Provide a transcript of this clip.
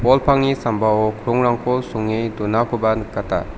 bol pangni sambao krongrangko songe donakoba nikata.